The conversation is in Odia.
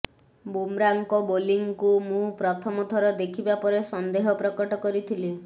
ବୁମ୍ରାଙ୍କ ବୋଲିଂକୁ ମୁଁ ପ୍ରଥମ ଥର ଦେଖିବା ପରେ ସନ୍ଦେହ ପ୍ରକଟ କରିଥିଲି